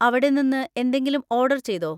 അവിടെ നിന്ന് എന്തെങ്കിലും ഓർഡർ ചെയ്തോ?